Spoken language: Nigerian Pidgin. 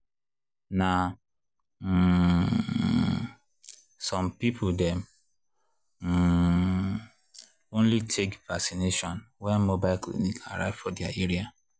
na um some people dem um only take vacination when mobile clinic arrive for their area.